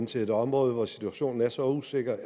til et område hvor situationen er så usikker